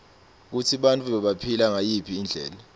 kutsi bantfu bebaphila ngayiphi indlela